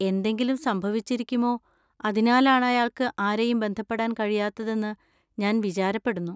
എന്തെങ്കിലും സംഭവിച്ചിരിക്കുമോ അതിനാലാണ് അയാൾക്ക് ആരെയും ബന്ധപ്പെടാൻ കഴിയാത്തതെന്ന് ഞാൻ വിചാരപ്പെടുന്നു.